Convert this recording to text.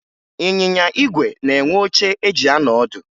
Ịnyịnya ígwè na-enwe oche eji anọ ọdụ